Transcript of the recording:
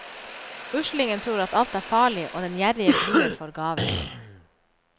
Uslingen tror at alt er farlig, og den gjerrige gruer for gaver.